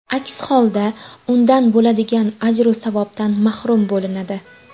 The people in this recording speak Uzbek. Aks holda undan bo‘ladigan ajru savobdan mahrum bo‘linadi.